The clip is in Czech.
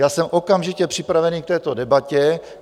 Já jsem okamžitě připravený k této debatě.